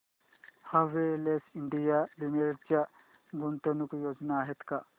Havells India limited च्या गुंतवणूक योजना आहेत का